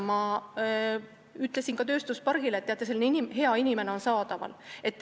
Ma ütlesin tööstuspargile, et teate, selline hea inimene on saadaval.